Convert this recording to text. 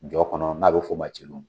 Jɔn kɔnɔ n'a be f'o ma celu.